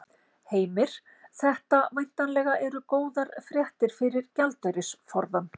Heimir: Þetta væntanlega eru góðar fréttir fyrir gjaldeyrisforðann?